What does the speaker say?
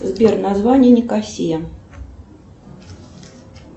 сбер название никосия